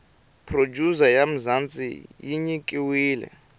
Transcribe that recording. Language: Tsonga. producer ya mzanzi yinyikiwile